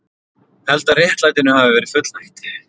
Held að réttlætinu hafi verið fullnægt